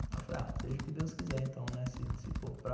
Ela falou, ah, seja o que Deus quiser, então, né, se for para...